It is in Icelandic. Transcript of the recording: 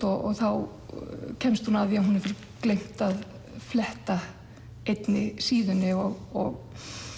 þá kemst hún að því að hún hefur gleymt að fletta einni síðunni og